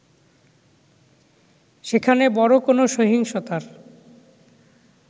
সেখানে বড় কোন সহিংসতার